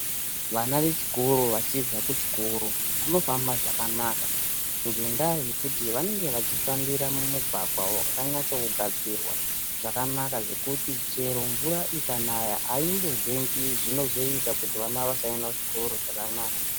Vana vechikoro vachibva kuchikoro vanofamba zvakanaka ngendaa yekuti vanenge vachifambira mumugwagwa wakanyatse kugadzirwa zvakanaka zvekuti chero mvura ikanaya aimbozengi zvinozoita kuti vana vasaende kuchikora zvakanaka.